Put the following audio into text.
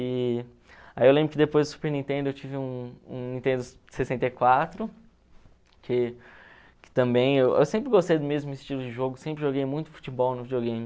E aí eu lembro que depois do Super Nintendo eu tive um um Nintendo sessenta e quatro, que que também... Eu sempre gostei do mesmo estilo de jogo, sempre joguei muito futebol no videogame.